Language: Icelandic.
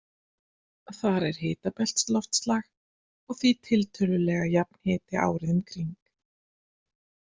Þar er hitabeltisloftslag og því tiltölulega jafn hiti árið um kring.